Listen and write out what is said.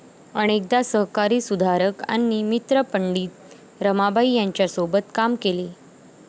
अनेकदा सहकारी सुधारक आणि मित्र पंडित रमाबाई यांच्यासोबत काम केले